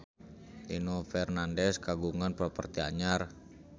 Nino Fernandez kagungan properti anyar